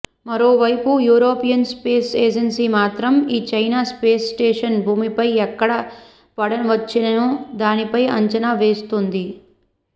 మరోవైపు European space agency మాత్రం ఈ చైనా స్పేస్ స్టేషన్ భూమిపై ఎక్కడ పడవచ్చనే దానిపై అంచనా వేస్తోంది